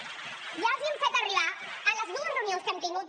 ja els hem fet arribar en les dues reunions que hem tingut